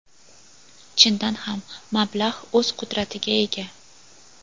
Chindan ham, mablag‘ o‘z qudratiga ega.